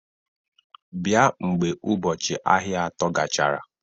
Bịa mgbe ụbọchị ahịa atọ gachara!